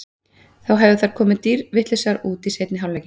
Þá hefðu þær komið dýrvitlausar út í seinni hálfleikinn.